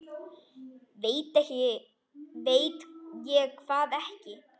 Veit ég hvað ekki?